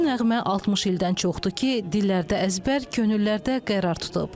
Bu nəğmə 60 ildən çoxdur ki, dillərdə əzbər, könüllərdə qərar tutub.